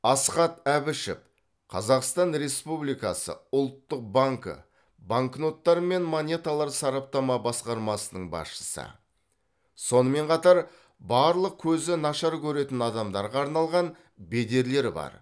асхат әбішев қазақстан республикасы ұлттық банкі банкноттар мен монеталар сараптама басқармасының басшысы сонымен қатар барлық көзі нашар көретін адамдарға арналған бедерлер бар